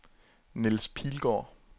Niels Pilgaard